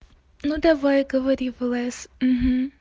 ну давай говори в лс